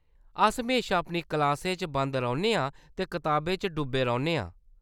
अस म्हेशा अपनी क्लासें च बंद रौह्‌‌‌न्ने आं ते कताबें च डुब्बे रौह्‌‌‌न्ने आं।